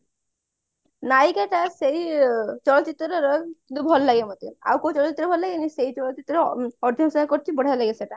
ନାୟିକା କା ଟା ସେଇ ଚଳଚିତ୍ର ରେ ରହେ କିନ୍ତୁ ଭଲ ଲାଗେ ମତେ ଆଉ କୋଉ ଚଳଚିତ୍ରରେ ଭଲଲାଗେନି ସେଇ ଚଳଚିତ୍ରରେ ବଢିଆ ଲାଗେ ସେଟା